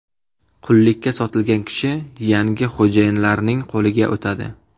Qullikka sotilgan kishi yangi xo‘jayinlarning qo‘liga o‘tadi.